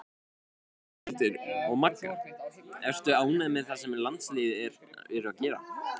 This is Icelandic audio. Ásthildur og Magga Ertu ánægð með það sem landsliðið er að gera?